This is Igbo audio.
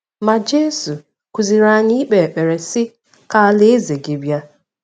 Ma Jesu kụziiri anyị ikpe ekpere, sị: “Ka alaeze gị bịa.”